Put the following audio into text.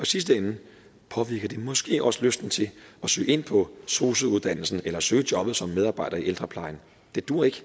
sidste ende påvirker det måske også lysten til at søge ind på sosu uddannelsen eller søge jobnet som medarbejder i ældreplejen det duer ikke